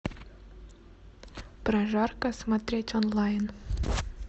прожарка смотреть онлайн